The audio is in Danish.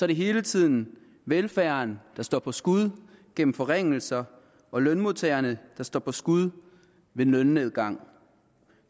det hele tiden velfærden der står for skud gennem forringelser og lønmodtagerne der står for skud med lønnedgang